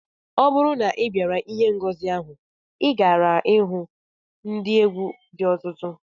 Ọ bụrụ na ị bịara ihe ngosi ahụ, ị gaara ihu ndị egwu dị ọtụtụ